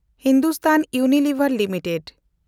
Hindustan Unilever Limited